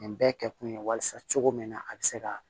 Nin bɛɛ kɛkun ye walasa cogo min na a be se ka